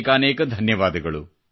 ಅನೇಕಾನೇಕ ಧನ್ಯವಾದಗಳು